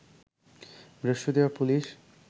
বৃহস্পতিবার পুলিশ